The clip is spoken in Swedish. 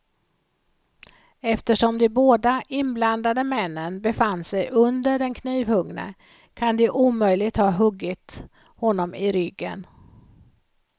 Eftersom de båda inblandade männen befann sig under den knivhuggne kan de omöjligt ha huggit honom i ryggen.